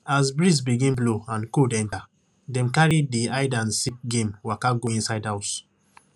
as breeze begin blow and cold enter dem carry di hide and seek game waka go inside house